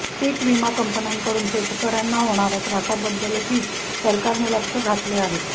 पीक विमा कंपन्याकडून शेतकऱ्यांना होणाऱ्या त्रासाबद्दल ही सरकारने लक्ष घातले आहे